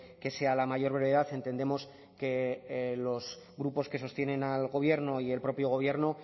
que sea a la mayor brevedad entendemos que los grupos que sostienen al gobierno y el propio gobierno